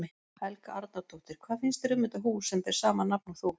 Helga Arnardóttir: Hvað finnst þér um þetta hús sem ber sama nafn og þú?